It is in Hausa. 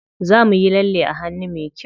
Za muyi lalle a hannu me kyau.